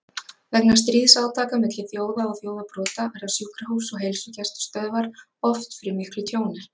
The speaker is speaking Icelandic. Vegna stríðsátaka milli þjóða og þjóðarbrota verða sjúkrahús og heilsugæslustöðvar oft fyrir miklu tjóni.